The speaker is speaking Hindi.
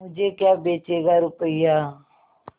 मुझे क्या बेचेगा रुपय्या